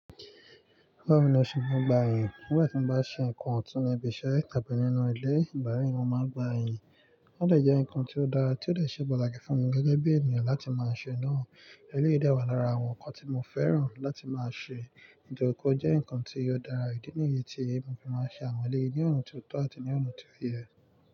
Báwo ni mo ṣe maa ń gbà ìyìn. Nígbà tí mo bá ṣe nǹkan ọ̀tún ní ibi iṣẹ́ àbí nínú ilé, ìgbà yìí mo máa gbà yìn. Ó dè jẹ́ nǹkan tí ó dára tí ó dè ṣe pàtàkì fún mi gẹ́gẹ́ bí ènìyàn láti máa ṣe náà. Eléyìí dè wà lára àwọn nǹkan tí mo fẹ́ràn láti máa ṣe. Nítorí kó jẹ́ nǹkan tí ó dára ìdí nìyí tí èmi fi máa ń ṣe àwọn eléyìí níwọ̀n tí ó tó àti níwọ̀n tí ó yẹ.